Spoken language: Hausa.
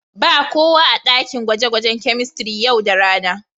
Ba kowa a daƙin gwaje-gwajen kemistiri yau da rana.